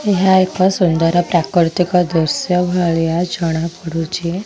ଏହା ଏକ ସୁନ୍ଦର ପ୍ରାକୃତିକ ଦୃଶ୍ୟ ଭଳିହା ଜଣାପଡ଼ୁଛି।